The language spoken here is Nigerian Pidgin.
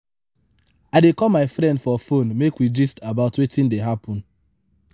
i dey call my friend for fone make we gist about wetin dey happen.